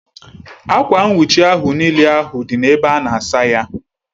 Akwa nwuchi ahu n'ile ahu di n'ebe ana asaya